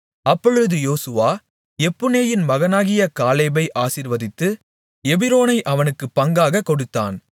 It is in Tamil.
அப்பொழுது யோசுவா எப்புன்னேயின் மகனாகிய காலேபை ஆசீர்வதித்து எபிரோனை அவனுக்குப் பங்காகக் கொடுத்தான்